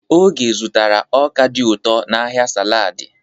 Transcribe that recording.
Oge zụtara ọka dị ụtọ n'ahịa saladị.